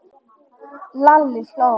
Lalli hló.